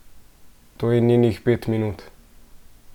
To je njenih pet minut!